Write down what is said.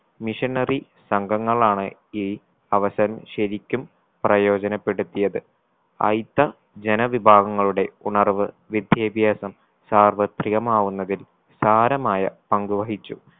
missionery സംഘങ്ങളാണ് ഈ അവസരം ശരിക്കും പ്രയോജനപ്പെടുത്തിയത് അയിത്ത ജനവിഭാവങ്ങളുടെ ഉണർവ്വ് വിദ്യാഭ്യാസം സർവ്വത്രികമാകുന്നതിൽ സാരമായ പങ്കു വഹിച്ചു.